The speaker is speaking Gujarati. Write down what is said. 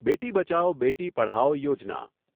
બેટી બચાઓ, બેટી પઢાઓ યોજના